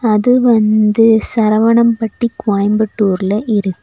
அது வந்து சரவணம்பட்டி கோயம்புத்தூர்ல இருக்.